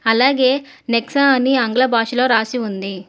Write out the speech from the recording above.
అలాగే నెక్సా అని ఆంగ్ల భాషలో రాసి ఉంది.